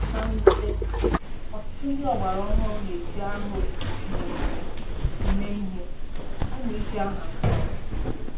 Na mwute, ọtụtụ ndị ọgbara ọhụrụ na-eji aha otutu Chineke eme ihe kama iji aha nsọ ya.